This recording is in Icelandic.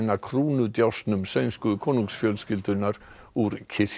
sænsku konungsfjölskyldunnar úr kirkju í bænum